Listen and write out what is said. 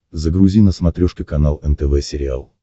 загрузи на смотрешке канал нтв сериал